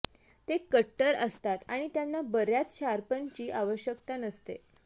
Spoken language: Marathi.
ते कट्टर असतात आणि त्यांना बर्याच शार्पनची आवश्यकता नसते